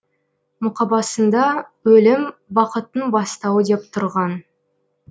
мұқабасында өлім бақыттың бастауы деп тұрған